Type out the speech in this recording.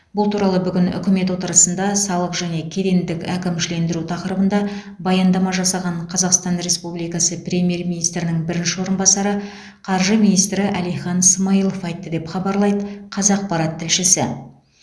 бұл туралы бүгін үкімет отырысында салық және кедендік әкімшілендіру тақырыбында баяндама жасаған қазақстан республикасы премьер министрінің бірінші орынбасары қаржы министрі әлихан смайылов айтты деп хабарлайды қазақпарат тілшісі